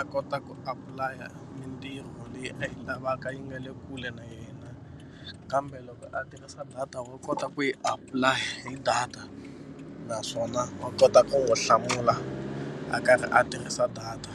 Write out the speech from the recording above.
a kota ku apulaya mintirho leyi a yi lavaka yi nga le kule na yena kambe loko a tirhisa data wa kota ku yi apulaya hi data naswona wa kota ku n'wi hlamula a karhi a tirhisa data.